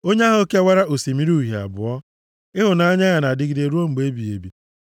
Onye ahụ kewara Osimiri Uhie abụọ, Ịhụnanya ya na-adịgide ruo mgbe ebighị ebi.